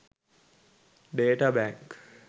data bank